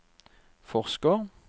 forsker